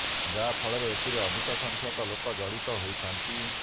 ଯାହା ଫଳରେ ଏଥିରେ ଅଧିକ ସଂଖ୍ୟାକ ଲୋକ ଜଡିତ ହୋଇଥାନ୍ତି